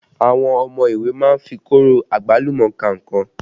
Àwọn ọmọ ilé ìwé má ń fi kóro àgbálùmọ́ ka nǹkan